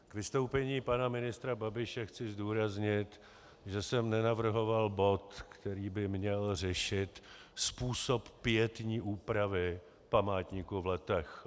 K vystoupení pana ministra Babiše chci zdůraznit, že jsem nenavrhoval bod, který by měl řešit způsob pietní úpravy památníku v Letech.